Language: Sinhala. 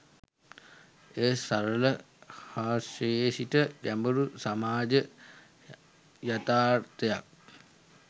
එය සරල හාස්‍යයේ සිට ගැඹුරු සමාජ යථාර්ථයක්